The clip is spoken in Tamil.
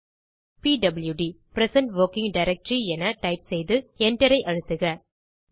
பிடியூடி பிரசன்ட் வொர்க்கிங் டைரக்டரி என டைப் செய்து Enter ஐ அழுத்துக